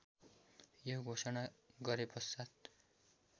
यो घोषणा गरेपश्चात्